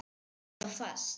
Er allt fast?